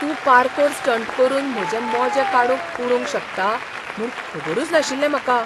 तूं parkour stunt करून म्हजे मोजे काडून उडोवंक शकता म्हूण खबरूच नाशिल्लें म्हाका.